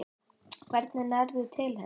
Hvernig nærðu til hennar?